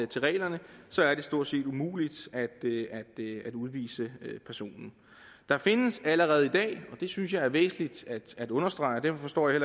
til reglerne så er det stort set umuligt at udvise personen der findes allerede i dag det synes jeg er væsentligt at understrege og derfor forstår jeg